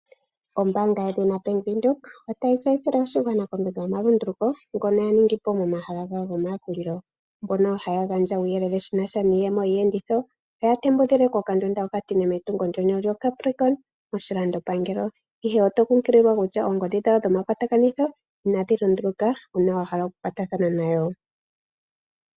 Ombaanga yedhina Bank Windhoek otayi tseyithile oshigwana kombinga yomalunduluko ngoka ya ningi po momahala gawo gomayakulilo mono haya gandja uuyelele shi na sha niiyemo yiiyenditho oya tembukile kokandunda okatine metungo nyoka lyoCapricorn moshilandopangelo, ihe oto tseyithilwa kutya oonomola dhawo inadhi lunduluka uuna wa hala okukwatathano nayo.